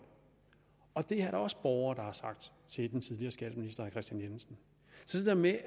og det er der også borgere der har sagt til den tidligere skatteminister herre kristian jensen så det der med